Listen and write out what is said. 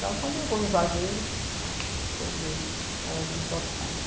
Só quando eu vou em Juazeiro que eu vejo elas encostadas.